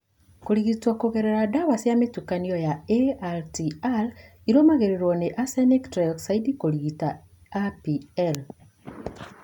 Kũrigitwo kũgerera ndawa cia mũtukanio cia ATRA irũmĩrĩrũo nĩ arsenic trioxide kũrigita APL.